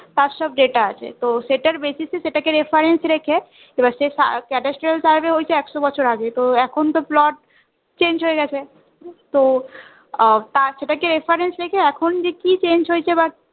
তার সব Data আছে তো সেটার basis এ সেটাকে reference রেখে এবার survey হয়েছে একশো বছর আগ তো এখন তো plot change হয়ে গেছে তো আহ সেটা কে reference রেখে এখন যে কি change হয়েছে বা